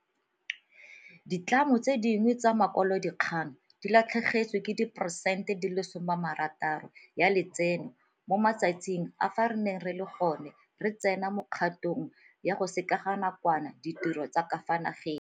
Ditlamo tse dingwe tsa makwalodikgang di latlhegetswe ke diperesente di le masome a marataro ya letseno mo matsatsing a fa re ne re le gone re tsena mo kgatong ya go sekeganakwana ditiro tsa ka fa nageng.